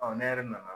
ne yɛrɛ nana